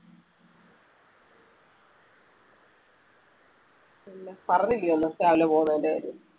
ഒന്നും പറഞ്ഞില്ലേ ഒന്നും രാവിലെ പോകുന്നുണ്ടേല്